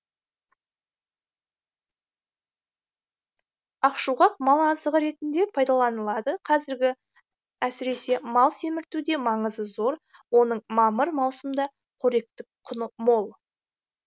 ақшуғақ мал азығы ретінде пайдаланылады әсіресе мал семіртуде маңызы зор оның мамыр маусымда қоректік құны мол